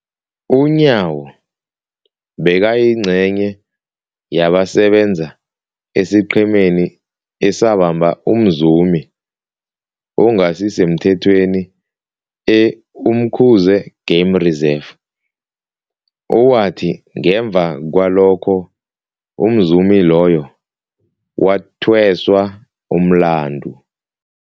UNyawo bekayingcenye yabasebenza esiqhemeni esabamba umzumi ongasisemthethweni e-Umkhuze Game Reserve, owathi ngemva kwalokho umzumi loyo wathweswa umlandu.